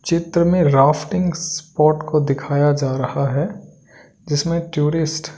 चित्र में rafting spot को दिखाया जा रहा है जिसमें टूरिस्ट --